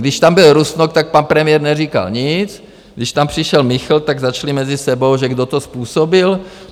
Když tam byl Rusnok, tak pan premiér neříkal nic, když tam přišel Michl, tak začali mezi sebou, že kdo to způsobil?